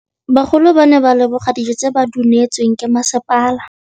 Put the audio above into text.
Bagolo ba ne ba leboga dijô tse ba do neêtswe ke masepala.